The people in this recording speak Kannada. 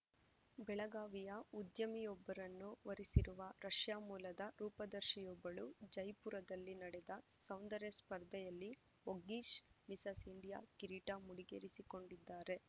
ಬೆಳಗಾವಿಯ ಉದ್ಯಮಿಯೊಬ್ಬರನ್ನು ವರಿಸಿರುವ ರಷ್ಯಾ ಮೂಲದ ರೂಪದರ್ಶಿಯೊಬ್ಬಳು ಜೈಪುರದಲ್ಲಿ ನಡೆದ ಸೌಂದರ್ಯ ಸ್ಪರ್ಧೆಯಲ್ಲಿ ವೊಗ್ಗಿಶ್‌ ಮಿಸಸ್‌ ಇಂಡಿಯಾ ಕಿರೀಟ ಮುಡಿಗೇರಿಸಿಕೊಂಡಿದ್ದಾರೆ